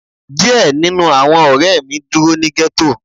Diẹ ninu awọn ọrẹ mi duro ni ghetto